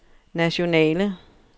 nationale